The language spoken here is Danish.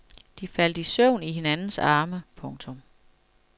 De faldt i søvn i hinandens arme. punktum